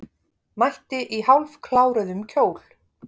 Mætti í hálfkláruðum kjól